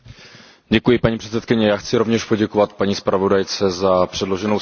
Paní předsedající, já chci rovněž poděkovat paní zpravodajce za předloženou zprávu.